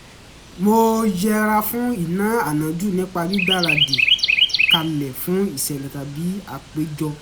mo yẹra fún ìná ànájú nípa gbígbaradì kalẹ̀ fún ìṣẹ̀lẹ̀ tàbí àpéjọ